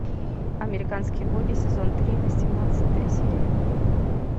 американские боги сезон три восемнадцатая серия